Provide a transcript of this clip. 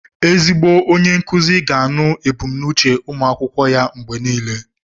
Ezigbo onye nkuzi ga na-anụ ebùmnúchè ụmụ akwụkwọ ya mgbe niile